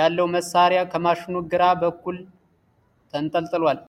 ያለው መሣሪያ ከማሽኑ ግራ በኩል ተንጠልጥሏል።